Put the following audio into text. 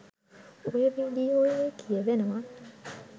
ඔය වීඩියෝවේ කියවෙනවා